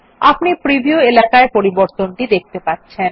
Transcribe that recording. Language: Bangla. আপনি প্রিভিউ এলাকায় পরিবর্তনটি দেখতে পাচ্ছেন